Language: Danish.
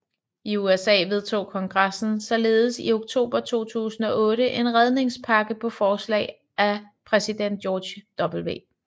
I USA vedtog kongressen således i oktober 2008 en redningspakke på forslag af præsident George W